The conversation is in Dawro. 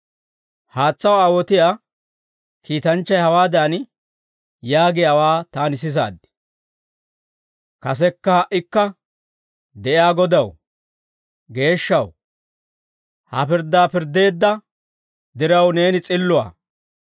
Haatsaw aawotiyaa kiitanchchay hawaadan yaagiyaawaa, taani sisaad; «Kasekka ha"ikka de'iyaa Godaw, Geeshshaw, ha pirddaa pirddeedda diraw, neeni s'illuwaa.